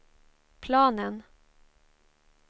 planen